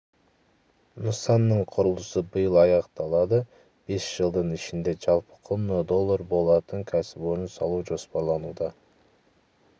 нысанның құрылысы биыл аяқталады бес жылдың ішінде жалпы құны доллар болатын кәсіпорын салу жоспарлануда